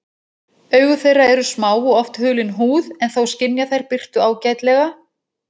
Augu þeirra eru smá og oft hulin húð en þó skynja þær birtu ágætlega.